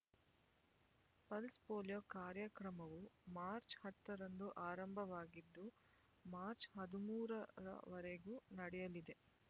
pulse polio ಕಾರ್ಯಕ್ರಮವು March ಹತ್ತರಂದು ಆರಂಭವಾಗಿದ್ದು ಮಾರ್ಚ್ ಹದಿಮೂರರವರೆಗು ನಡೆಯಲಿದೆ